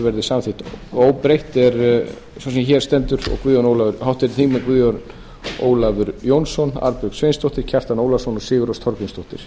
verði samþykkt óbreytt sá sem hér stendur og háttvirtir þingmenn guðjón ólafur jónsson arnbjörg sveinsdóttir kjartan ólafsson og sigurrós þorgrímsdóttir